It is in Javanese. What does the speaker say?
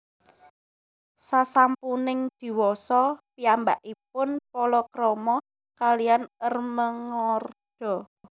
Sasampuning diwasa piyambakipun palakrama kaliyan Ermengarda